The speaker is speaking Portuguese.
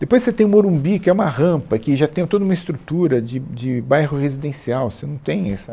Depois você tem o Morumbi, que é uma rampa, que já tem o toda uma estrutura de de bairro residencial. Você não tem essa